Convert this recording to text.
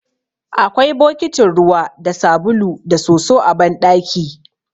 Akwai bokitin ruwa da sabulu da soso a banɗaki.